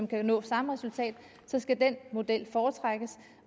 kan nå samme resultat skal den model foretrækkes